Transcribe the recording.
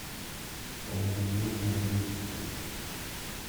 положи деньги на другой телефон